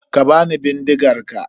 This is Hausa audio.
Ka bani bindigar ka.